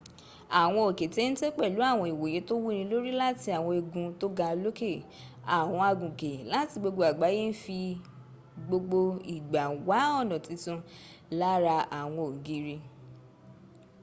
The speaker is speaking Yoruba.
àwọn òkè téńté pèlú àwọn ìwòye tó wúni lòrì láti àwọn igun tó ga lókẹ̀. àwọn agùnkè láti gbogbo àgbáyé ń fi gbogbo ìgbà wá ọ̀nà titun láára àwọn ògìri